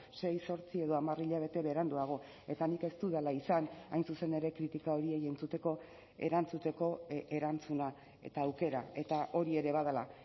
sei zortzi edo hamar hilabete beranduago eta nik ez dudala izan hain zuzen ere kritika horiei entzuteko erantzuteko erantzuna eta aukera eta hori ere badela